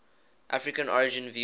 african origin view